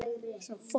Þær hafa ræst.